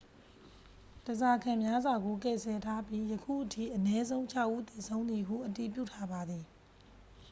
ဓားစာခံများစွာကို ကယ်ဆယ်ထားပြီး ယခုအထိ အနည်းဆုံး ခြောက် ဦးသေဆုံးသည်ဟု အတည်ပြုထားပါသည်